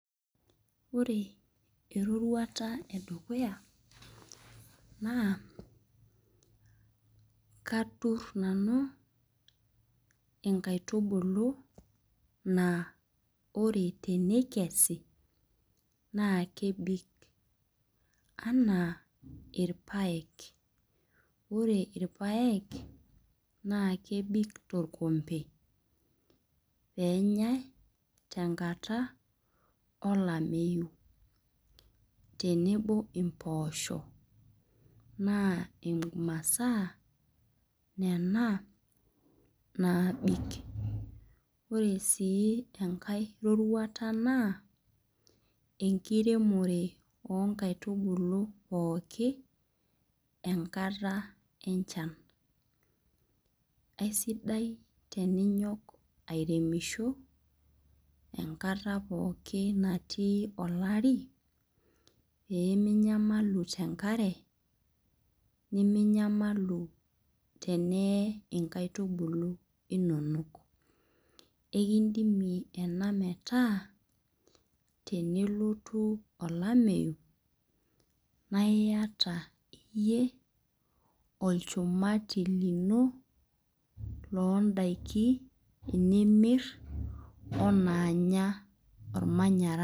Ore eroruata e dukuya naa katur nanu inkaitubuklu naa ore teneikesi naa kebik, anaa ilpaek, naa kebik tolkombe, naa kebik tenkata olameyu tenebo impoosho, naa imasaa nena naabik. Ore sii enkai roruata naa enkiremore o nkaitubulu pooki enkata enchan. Aisidai teninyok airemisho enkata pooki natii olari, pee me inyamalu tenkare niminyamalu teneee inkaitubulu inono. Ekindimie ena metaa ore tenelotu olameyu, naa iata iyie olchumati lino ilimir o inaanya olmanyara.